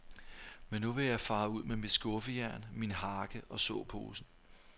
Men nu vil jeg fare ud med mit skuffejern, min hakke og såposen.